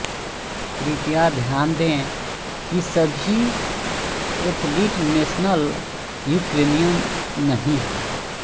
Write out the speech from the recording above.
कृपया ध्यान दें कि सभी एथलीट नेशनल यूक्रेनियन नहीं हैं